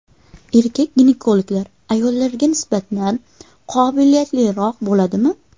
Erkak ginekologlar ayollarga nisbatan qobiliyatliroq bo‘ladimi?